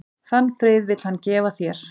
Þann frið vill hann gefa þér.